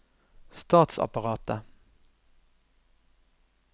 statsapparatet